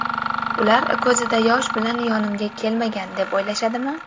Ular ko‘zida yosh bilan yonimga kelmagan, deb o‘ylashadimi?